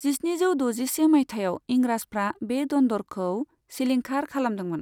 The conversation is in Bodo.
जिस्निजौ द'जिसे मायथाइआव इंराजफ्रा बे दन्दरखौ सिलिंखार खालामदोंमोन।